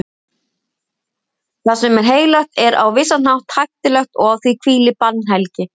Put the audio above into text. Það sem er heilagt er á vissan hátt hættulegt og á því hvílir bannhelgi.